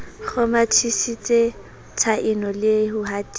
kgomathisetse tshaeno le ho hatisa